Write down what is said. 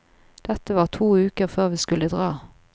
Dette var to uker før vi skulle dra.